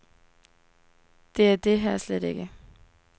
Det er det her slet ikke.